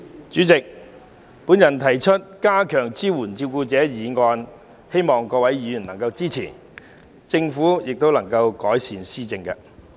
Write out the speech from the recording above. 主席，我動議"加強對照顧者的支援"的議案，希望各位議員能予以支持，並且政府能改善有關措施。